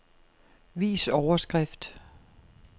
Vis overskrift.